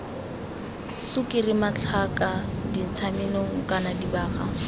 sukiri matlhaka dintshamenong kana dibaga